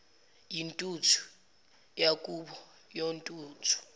yintuthu yakubo kontuthu